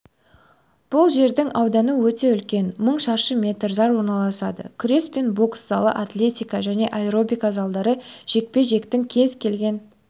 бұл жердің ауданы өте үлкен мың шаршы метр зал орналасады күрес пен бокс залы атлетика және аэробика залдары жекпе-жектің кез келген